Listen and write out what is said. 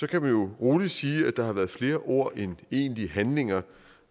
kan man jo roligt sige at der har været flere ord end egentlige handlinger